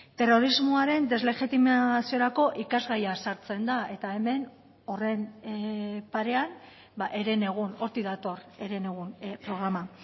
terrorismoaren deslegitimaziorako ikasgaia sartzen da eta hemen horren parean herenegun hortik dator herenegun programa